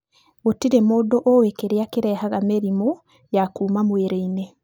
Gũtirĩ mũndũ ũĩ kĩrĩa kĩrehaga mĩrimũ ya kuma mwĩrĩ-inĩ.